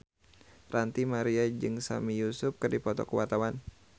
Ranty Maria jeung Sami Yusuf keur dipoto ku wartawan